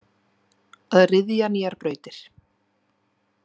Að ryðja nýjar brautir.